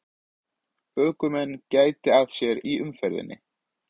Ökumenn gæti að sér í umferðinni